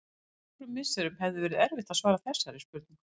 Fyrir nokkrum misserum hefði verið erfitt að svara þessari spurningu.